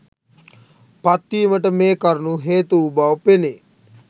පත්වීමට මේ කරුණූ හේතු වූ බව පෙනේ.